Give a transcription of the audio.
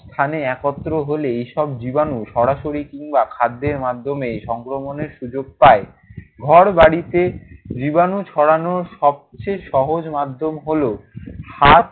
স্থানে একত্র হলে এসব জীবাণু সরাসরি কিংবা খাদ্যের মাধ্যমে সংক্রমণের সুযোগ পায়। ঘরবাড়িতে জীবাণু ছড়ানোর সবচেয়ে সহজ মাধ্যম হলো হাত